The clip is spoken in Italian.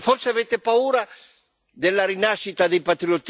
Forse avete paura della rinascita dei patriottismi?